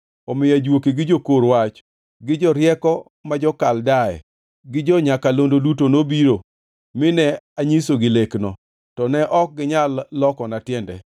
Omiyo ajuoke, gi jokor wach, gi jorieko ma jo-Kaldea, gi jo-nyakalondo duto nobiro, mine anyisogi lekno, to ne ok ginyal lokona tiende.